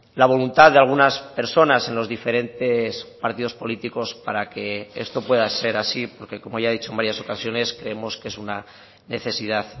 la voluntad de algunas personas en los diferentes partidos políticos para que esto pueda ser así porque como ya he dicho en varias ocasiones creemos que es una necesidad